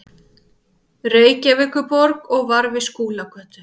Reykjavíkurborg og var við Skúlagötu.